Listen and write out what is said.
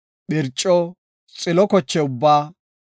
phirco, xilo koche ubbaa,